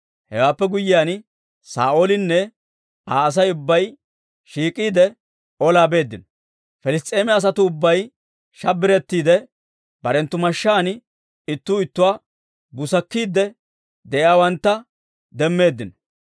Hewaappe guyyiyaan, Saa'oolinne Aa Asay ubbay shiik'iide, olaa beeddino. Piliss's'eema asatuu ubbay shabbirettiide, barenttu mashshaan ittuu ittuwaa busakkiidde de'iyaawantta demmeeddino.